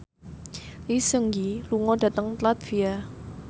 Lee Seung Gi lunga dhateng latvia